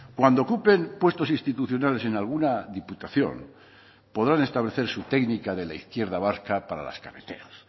cuando ocupen puestos institucionales en alguna diputación podrán establecer su técnica de la izquierda vasca para las cabeceras